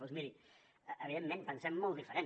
doncs miri evidentment pensem molt diferent